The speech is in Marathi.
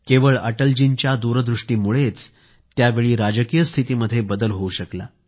केवळ अटलजींच्या दूरदृष्टीमुळेच त्यावेळी राजकीय स्थितीमध्ये बदल होऊ शकला